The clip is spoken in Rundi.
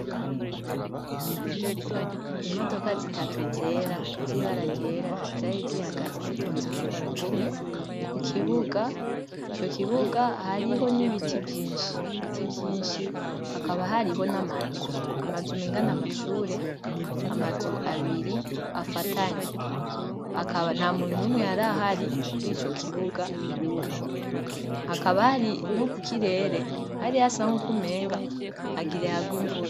Imodoka zitatu zera zibararyera jaye zihagazi zitonze ku murongo umwe ku kibuga ico kibuga hariho n'ibiti vyinshi ibiti vyinshi hakaba hariho n'amazu amazuma ingana amashure amazu abiri afatanye hakaba na muntu umwe hari ahari kuri ico kibuga hakabari no ku kirere hari ha sanko kumenga agira hagwe imvura.